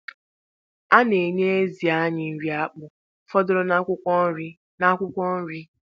A na-enye ezì anyị nri akpụ fọdụrụ na akwụkwọ nri. na akwụkwọ nri.